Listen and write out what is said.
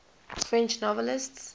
french novelists